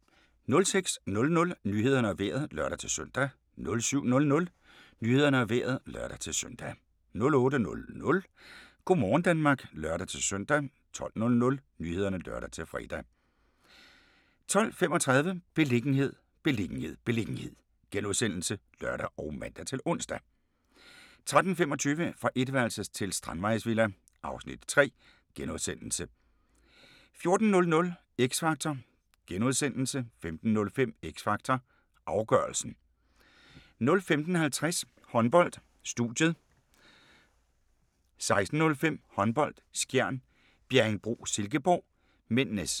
06:00: Nyhederne og Vejret (lør-søn) 07:00: Nyhederne og Vejret (lør-søn) 08:00: Go' morgen Danmark (lør-søn) 12:00: Nyhederne (lør-fre) 12:35: Beliggenhed, beliggenhed, beliggenhed *(lør og man-ons) 13:25: Fra etværelses til strandvejsvilla (Afs. 3)* 14:00: X Factor * 15:05: X Factor - afgørelsen 15:50: Håndbold: Studiet 16:05: Håndbold: Skjern - Bjerringbro-Silkeborg (m)